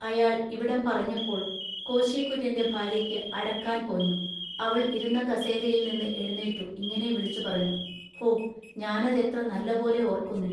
അയാൾ ഇവിടം പറഞ്ഞപ്പോൾ കോശികുര്യന്‍റെ ഭാൎയ്യയ്ക്കു അടക്കാൻ പോഞ്ഞു അവൾ ഇരുന്ന കസേരിയേൽനിന്നു എഴുനീറ്റു ഇങ്ങിനെ വിളിച്ചുപറഞ്ഞു-ഹൊ ഞാനതെത്ര നല്ലപോലെ ഓൎക്കുന്നു.